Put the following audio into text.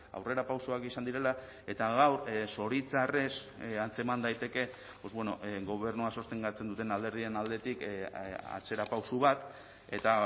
aurrerapausoak izan direla eta gaur zoritxarrez antzeman daiteke gobernua sostengatzen duten alderdien aldetik atzerapauso bat eta